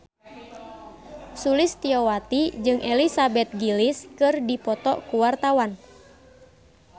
Sulistyowati jeung Elizabeth Gillies keur dipoto ku wartawan